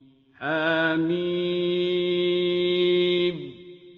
حم